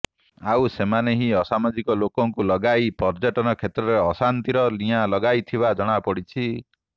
ଆଉ ସେମାନେ ହିଁ ଅସାମାଜିକ ଲୋକଙ୍କୁ ଲଗାଇ ପର୍ୟ୍ୟଟନ କ୍ଷେତ୍ରରେ ଅଶାନ୍ତିର ନିଆଁ ଲଗାଇଥିବା ଜଣାପଡିଛି